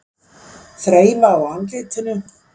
Þreifa á andlitinu.